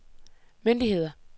myndigheder